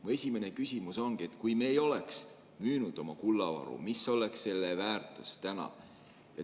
Mu esimene küsimus ongi: kui me ei oleks müünud oma kullavaru, siis mis oleks selle väärtus täna?